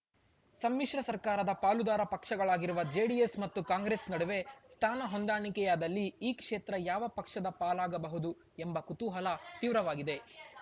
ಸಮ್ಮಿಶ್ರ ಸರ್ಕಾರದ ಪಾಲುದಾರ ಪಕ್ಷಗಳಾಗಿರುವ ಜೆಡಿಎಸ್‌ ಮತ್ತು ಕಾಂಗ್ರೆಸ್‌ ನಡುವೆ ಸ್ಥಾನ ಹೊಂದಾಣಿಕೆಯಾದಲ್ಲಿ ಈ ಕ್ಷೇತ್ರ ಯಾವ ಪಕ್ಷದ ಪಾಲಾಗಬಹುದು ಎಂಬ ಕುತೂಹಲ ತೀವ್ರವಾಗಿದೆ